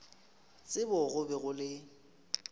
tsebo go be go le